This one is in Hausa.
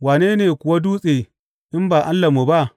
Wane ne kuwa Dutse in ba Allahnmu ba?